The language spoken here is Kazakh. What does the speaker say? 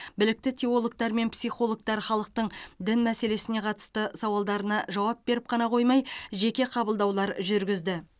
білікті теологтар мен психологтар халықтың дін мәселесіне қатысты сауалдарына жауап беріп қана қоймай жеке қабылдаулар жүргізді